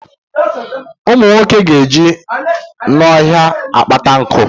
Ụmụ nwoke ga eje n'ọhịa akpata nku